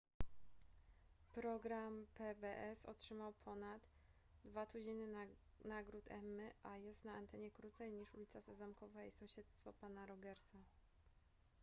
program pbs otrzymał ponad dwa tuziny nagród emmy a jest na antenie krócej niż ulica sezamkowa i sąsiedztwo pana rogersa